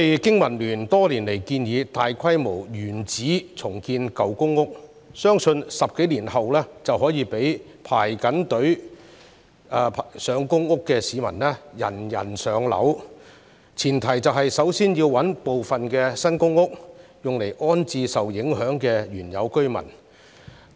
經民聯多年來一直建議大規模原址重建舊公屋，此舉相信可在10多年後讓輪候公屋的市民人人"上樓"，但前提是要先行物色一些新公屋安置受影響的原有居民。